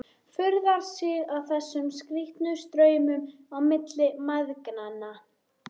Furðar sig á þessum skrýtnu straumum á milli mæðgnanna.